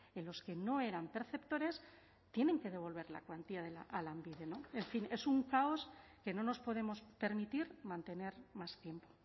en los que no eran perceptores tienen que devolver la cuantía a lanbide en fin es un caos que no nos podemos permitir mantener más tiempo